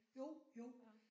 Jo jo